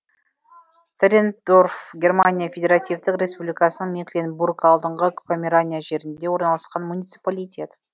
царрендорф германия федеративтік республикасының мекленбург алдыңғы померания жерінде орналасқан муниципалитет